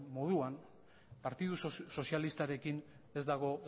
moduan partidu sozialistarekin ez dago